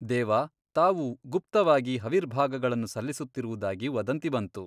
ದೇವಾ ತಾವು ಗುಪ್ತವಾಗಿ ಹವಿರ್ಭಾಗಗಳನ್ನು ಸಲ್ಲಿಸುತ್ತಿರುವುದಾಗಿ ವದಂತಿ ಬಂತು.